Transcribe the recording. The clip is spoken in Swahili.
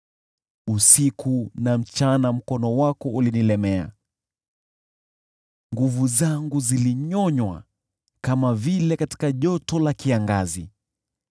Usiku na mchana mkono wako ulinilemea, nguvu zangu zilinyonywa kama vile katika joto la kiangazi.